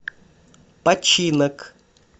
починок